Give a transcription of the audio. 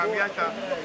Hamıya çatdı?